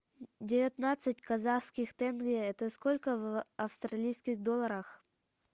девятнадцать казахских тенге это сколько в австралийских долларах